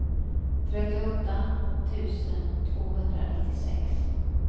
trettioåtta tusen tvåhundranittiosex